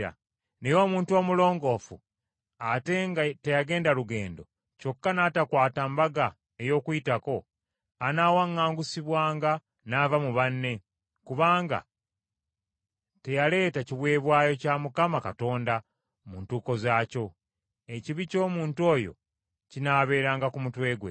Naye omuntu omulongoofu ate nga teyagenda lugendo, kyokka n’atakwata Mbaga ey’Okuyitako, anaawaŋŋangusibwanga n’ava mu banne, kubanga teyaleeta kiweebwayo kya Mukama Katonda mu ntuuko zaakyo. Ekibi ky’omuntu oyo kinaabeeranga ku mutwe gwe.